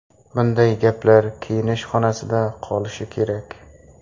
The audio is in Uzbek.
Bunday gaplar kiyinish xonasida qolishi kerak.